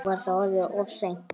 Nú var það orðið of seint.